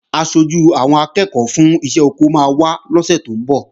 Aṣojú àwọn akẹ́ẹ̀kọ́ fún iṣẹ́ oko máa wá lọ́sè tó ń bọ̀